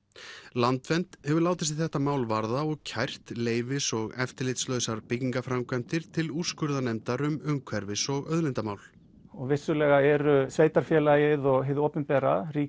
landvernd hefur látið sig þetta mál varða og kært leyfis og eftirlitslausar byggingaframkvæmdir til úrskurðarnefndar um umhverfis og auðlindamál og vissulega eru sveitarfélagið og hið opinbera